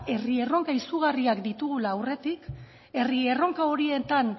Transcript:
herri erronka izugarriak ditugula aurretik herri erronka horietan